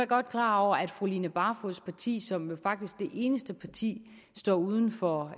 godt klar over at fru line barfods parti som faktisk det eneste parti står uden for